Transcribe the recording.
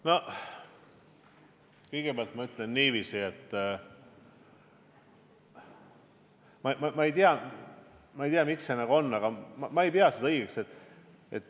Noh, kõigepealt ma ütlen niiviisi, et ma ei tea, miks see nii on, aga ma ei pea seda õigeks.